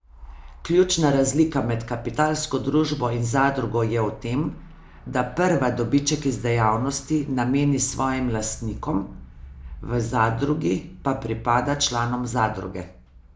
Ključna razlika med kapitalsko družbo in zadrugo je v tem, da prva dobiček iz dejavnosti nameni svojim lastnikom, v zadrugi pa pripada članom zadruge.